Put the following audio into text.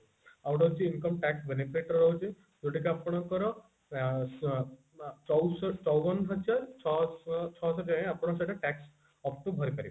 ଆଉ ଗୋଟେ ହଉଛି income tax benefit ର ରହୁଛି ଯୋଉଟା କି ଆପଣଙ୍କର ଆଁ ଚଉ ଚଉବନ ହଜାର ଛ ଛଷଠି ଆପଣଙ୍କୁ ସେଇଟା up to ଭରି ପାରିବେ